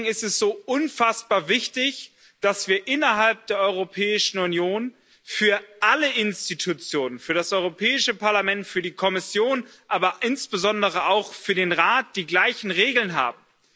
Deswegen ist es so unfassbar wichtig, dass wir innerhalb der Europäischen Union für alle Institutionen für das Europäische Parlament, für die Kommission, aber insbesondere auch für den Rat die gleichen Regeln haben.